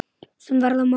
sem verða má.